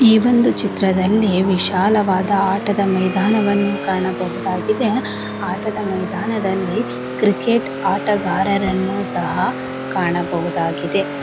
ಈ ಒಂದು ಚಿತ್ರದಲ್ಲಿ ವಿಶಾಲವಾದ ಆಟದ ಮೈದಾನವನ್ನು ಕಾಣಬಹುದಾಗಿದೆ ಆಟದ ಮೈದಾನದಲ್ಲಿ ಕ್ರಿಕೆಟ್ ಆಟಗಾರರನ್ನು ಸಹ ಕಾಣಬಹುದಾಗಿದೆ.